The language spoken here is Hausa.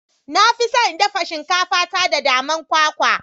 Na fi son in dafa shinkafa ta da man kwakwa.